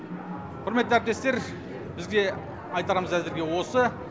құрметті әріптестер бізде айтарымыз әзірге осы